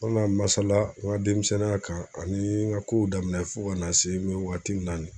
An mina masala n ka denmisɛnninya kan ani n ka kow daminɛ fo ka na se an mi wagati min na ni ye.